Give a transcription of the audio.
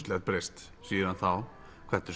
breyst síðan þá þetta eru